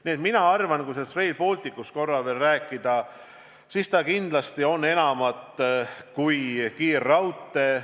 Nii et mina arvan, kui sellest Rail Balticust korra veel rääkida, siis kindlasti on see midagi enamat kui kiirraudtee.